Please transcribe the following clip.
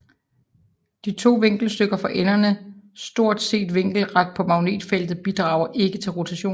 De to viklingsstykker for enderne stort set vinkelret på magnetfeltet bidrager ikke til rotation